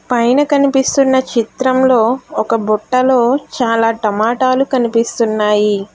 పైన కనిపిస్తున్న చిత్రంలో ఒక బుట్టలో చాలా టమాటాలు కనిపిస్తున్నాయి.